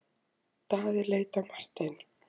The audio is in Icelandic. Daði leit á Martein.